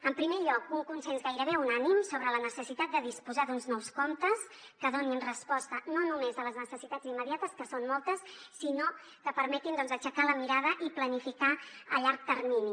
en primer lloc un consens gairebé unànime sobre la necessitat de disposar d’uns nous comptes que donin resposta no només a les necessitats immediates que són moltes sinó que permetin doncs aixecar la mirada i planificar a llarg termini